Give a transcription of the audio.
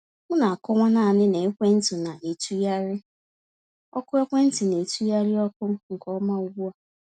M na-akọwa naanị na ekwentị na-etụgharị ọkụ ekwentị na-etụgharị ọkụ nke ọma ugbu a.